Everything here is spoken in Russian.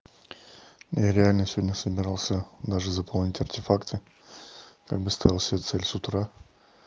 ну я реально сегодня собирался даже заполнить артефакты как бы ставил себе цель с утра